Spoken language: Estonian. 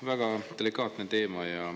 Väga delikaatne teema.